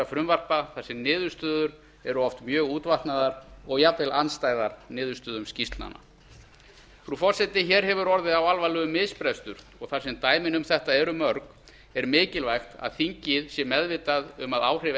frumvarpa þar sem niðurstöður eru oft mjög útvatnaðar og jafnvel andstæðar niðurstöðum skýrslnanna frú forseti hér hefur orðið á alvarlegur misbrestur og þar sem dæmin um þetta eru mörg er mikilvægt að þingið sé meðvitað um að áhrif